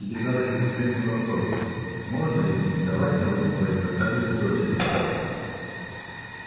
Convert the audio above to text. тебе задали конкретный вопрос можно ли претендовать на руку твоей красавицы-дочери